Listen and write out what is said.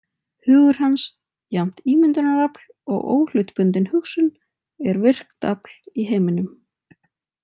Hugur hans, jafnt ímyndunarafl og óhlutbundin hugsun, er virkt afl í heiminum.